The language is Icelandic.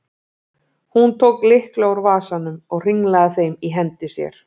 Hún tók lykla úr vasanum og hringlaði þeim í hendi sér.